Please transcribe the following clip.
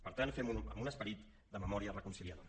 per tant fem ho amb un esperit de memòria reconciliadora